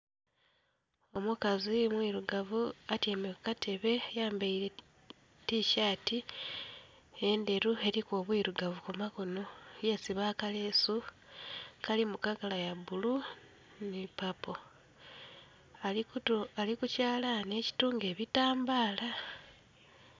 Omukazi mwirugavu atyaime ku katebe, ayambaile tishati endheru eliku obwirugavu ku makono, yesiba akaleesu akali mu kala ya bbulu nhi papo. Ali ku kyalani ekitunga ebitambaala